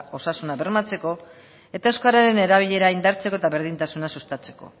osasuna bermatzeko eta euskararen erabilera indartzeko eta berdintasuna sustatzeko